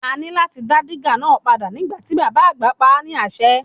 A ní láti dá dígà náà padà nígbà tí bàbá àgbà pa á ni ase.